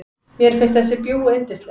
Mér finnst þessi bjúgu yndisleg.